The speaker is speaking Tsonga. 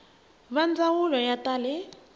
va ndzawulo ya ta le